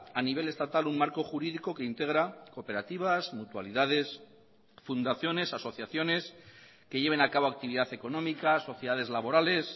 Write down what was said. a nivel estatal un marco jurídico que integra cooperativas mutualidades fundaciones asociaciones que lleven a cabo actividad económica sociedades laborales